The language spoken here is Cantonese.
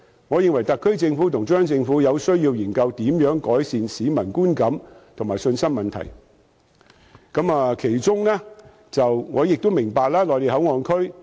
我認為特區政府和中央政府除了解釋，亦有需要研究如何改善市民的觀感和信心。我明白內地口岸區......